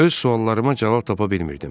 Öz suallarıma cavab tapa bilmirdim.